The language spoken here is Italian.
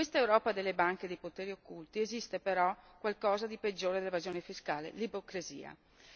In quest'Europa delle banche e dei poteri occulti esiste però qualcosa di peggiore dell'evasione fiscale l'ipocrisia.